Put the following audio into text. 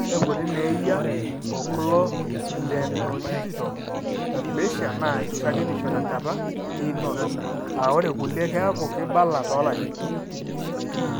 Ore inkuti neeyia oculodentodigital dysplasia naa shakenisho tenkata einoto, aa ore kulie keaku keibala toolarin.